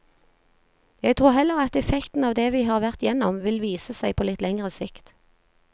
Jeg tror heller at effekten av det vi har vært gjennom, vil vise seg på litt lengre sikt.